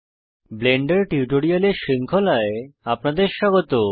Blender টিউটোরিয়ালের শৃঙ্খলায় আপনাদের স্বাগত